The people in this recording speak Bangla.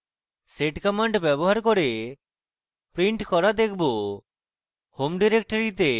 sed command ব্যবহার করে print করা দেখবো